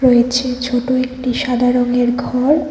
রয়েছে ছোট একটি সাদা রংয়ের ঘর।